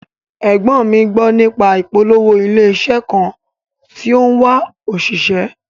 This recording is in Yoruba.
Ẹ̀gbọ́n mi gbó nípa ìpolówó ilé iṣẹ́ kan tó ń wá òṣìṣẹ́